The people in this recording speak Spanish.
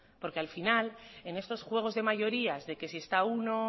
porque al final en estos juegos de mayorías de que si está uno